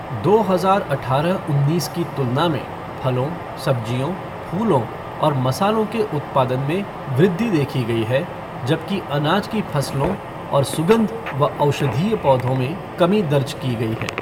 दो हजार अठारह उन्नीस की तुलना में फलों, सब्जियों, फूलों और मसालों के उत्पादन में वृद्धि देखी गई है, जबकि अनाज की फसलों और सुगंध व औषधीय पौधों में कमी दर्ज की गई है।